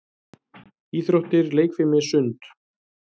Íþróttir- leikfimi- sund